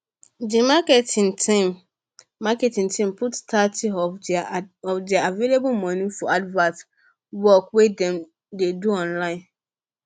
di marketing team marketing team put thirty of their available money for advert work wey dem dey do online